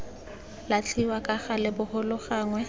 latlhiwa ka gale bogolo gangwe